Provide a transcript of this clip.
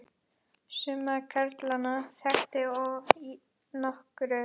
Suma karlana þekkti ég nokkuð.